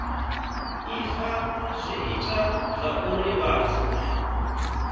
ifa zwi ita zwauri vhathu